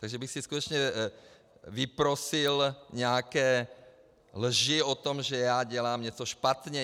Takže bych si skutečně vyprosil nějaké lži o tom, že já dělám něco špatně.